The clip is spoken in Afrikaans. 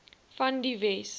van die wes